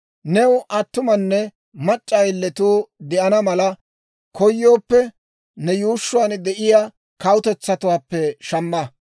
« ‹New attumanne mac'c'a ayiletuu de'ana mala koyooppe, ne yuushshuwaan de'iyaa kawutetsatuwaappe shamma.